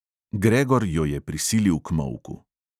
Gregor jo je prisilil k molku.